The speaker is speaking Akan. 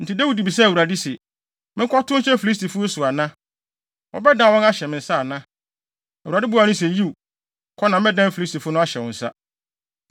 Enti Dawid bisaa Awurade se, “Menkɔtow nhyɛ Filistifo yi so ana? Wobɛdan wɔn ahyɛ me nsa ana?” Awurade buaa no se, “Yiw, kɔ na mɛdan Filistifo no ahyɛ wo nsa.”